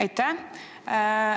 Aitäh!